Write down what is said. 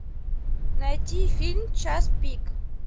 найти фильм час пик